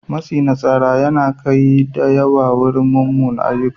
Matsi na tsara yana kai yara da yawa yin munanan ayyuka.